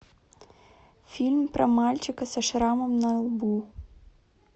фильм про мальчика со шрамом на лбу